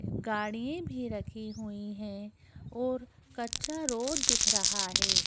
गाड़ी भी रखी हुई हैं और कच्चा रोड दिख रहा है।